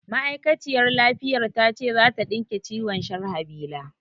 Ma'aikaciyar lafiyar ta ce za ta ɗinke ciwon Sharhabila